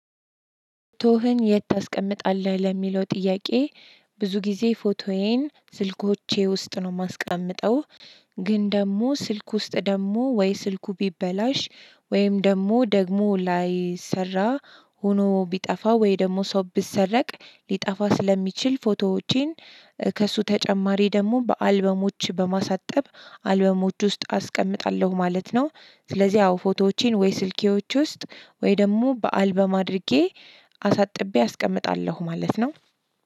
ቶህን የት ታስቀምጣለህ ለሚለው ጥያቄ? ብዙ ጊዜ ፎቶዬን ስልኮቼ ውስጥ ነው ማስቀምጠው። ግን ደግሞ ስልክ ውስጥ ደግሞ ወይ ስልኩ ቢበላሽ ወይም ደግሞ ደግሞ ላይ ሰራ ሆኖ ቢጠፋ ወይ ደግሞ ሰው ቢሰረቅ ሊጠፋ ስለሚችል ፎቶዎቼን ከእሱ ተጨማሪ ደግሞ በአልበሞች በማሳጠብ አልበሞች ውስጥ አስቀምጣለሁ ማለት ነው። ስለዚህ ያው ፎቶዎቼን ወይ ስልኬዎች ውስጥ ወይ ደግሞ በአልበም አድርጌ አሳጥቤ አስቀምጣለሁ ማለት ነው።